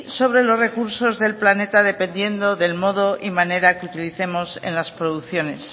sobre los recursos de planeta dependiendo del modo y manera que utilicemos en las producciones